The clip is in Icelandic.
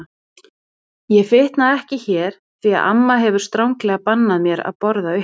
Ég fitna ekki hér því að amma hefur stranglega bannað mér að borða uppi.